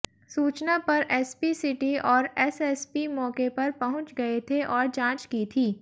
सूचना पर SP city और एएसपी मौके पर पहुंच गए थे और जांच की थी